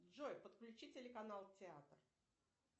джой подключи телеканал театр